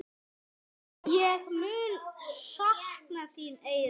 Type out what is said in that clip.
Ég mun sakna þín, Eyrún.